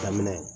Daminɛ